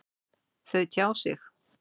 Þau tjá sig.